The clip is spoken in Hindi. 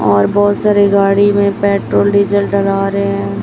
और बहोत सारे गाड़ी में पेट्रोल डीजल डलवा रहे हैं।